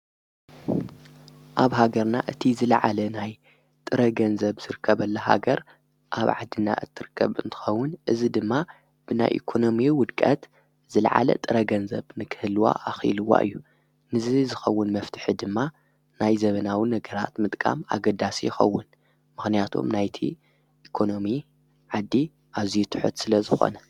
ኣብ ሃገርና እቲ ዝለዓለ ናይ ጥረ ገንዘብ ሥርከብ ኣለ ሃገር ኣብ ዓድና እትርቀብ እንትኸውን እዝ ድማ ብናይ ኢኮኖሚ ውድቀት ዝለዓለ ጥረገንዘብ ንክህልዋ ኣኺልዋ እዩ ንዘ ዝኸውን መፍትሕ ድማ ናይ ዘመናውን ነገራት ምጥቃም ኣገዳስ ይኸውን ምኽንያቶም ናይቲ ኢኮኖሚ ዓዲ ኣዚይትሑት ስለ ዝኾነ።